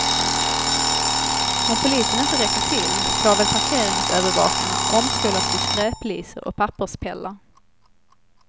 Om polisen inte räcker till får väl parkeringsövervakarna omskolas till skräplisor och papperspellar.